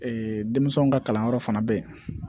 denmisɛnw ka kalanyɔrɔ fana bɛ yen